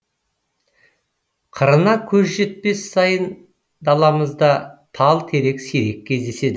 қырына көз жетпес сайын даламызда тал терек сирек кездеседі